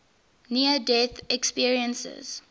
near death experiences